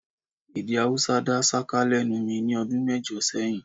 Èdè Haúsá dá ṣáká lẹ́nu mi ní ọdún mẹ́jọ sẹ́yìn